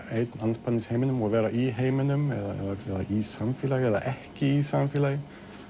einn andspænis heiminum og vera í heiminum eða í samfélagi eða ekki í samfélagi